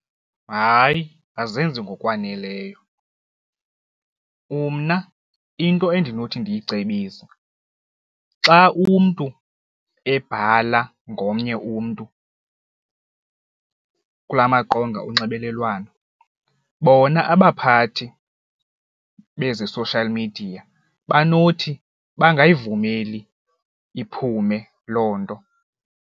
Hayi, azenzi ngokwaneleyo, umna into endinothi ndiyicebise xa umntu ebhala ngomnye umntu kula maqonga onxibelelwano bona abaphathi bezi social media banothi bangayivumeli iphume loo nto.